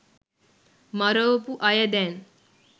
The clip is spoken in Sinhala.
මරවපු අය දැන්